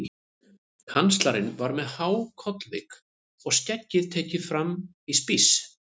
Kanslarinn var með há kollvik og skeggið tekið fram í spíss.